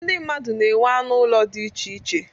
Ndị mmadụ na-enwe anụ ụlọ dị iche iche.